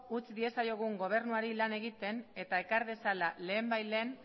utz diezaiogun gobernuari lan egiten eta ekar dezala lehenbailehen